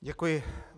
Děkuji.